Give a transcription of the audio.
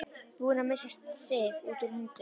Búinn að missa Sif út úr höndunum.